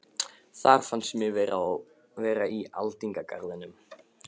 Þar fannst mér ég vera í aldingarðinum